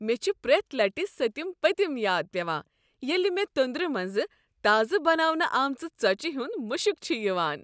مےٚ چھُ پرٛیتھ لٹہ سٔتم پٔتم یاد پیوان ییٚلہ مےٚ تندور منٛز تازہٕ بناونہٕ آمژِ ژۄچہ ہنٛد مشک چھ یوان۔